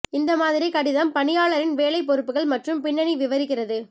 இந்த மாதிரி கடிதம் பணியாளரின் வேலை பொறுப்புகள் மற்றும் பின்னணி விவரிக்கிறது